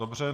Dobře.